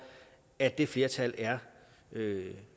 at det flertal er